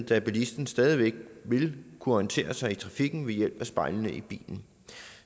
da bilisten stadig væk vil kunne orientere sig i trafikken ved hjælp af spejlene i bilen